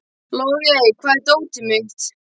Logey, hvar er dótið mitt?